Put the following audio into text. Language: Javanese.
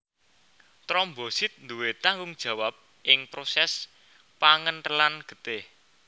Trombosit duwé tanggung jawab ing prosès pangenthelan getih